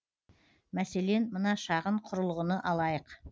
мәселен мына шағын құрылғыны алайық